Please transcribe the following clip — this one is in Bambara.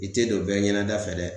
I te don bɛɛ ɲɛnɛda fɛ dɛ